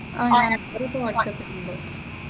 അഹ് ഞാൻ നമ്പർ ഇപ്പോ വാട്സാപ്പിൽ ഇട്ടിട്ടുണ്ട്.